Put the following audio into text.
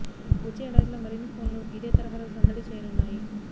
వచ్చే ఏడాదిలో మరిన్ని ఫోన్లు ఇదే తరహాలో సందడి చేయనున్నాయి